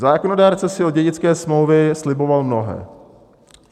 Zákonodárce si od dědické smlouvy sliboval mnohé.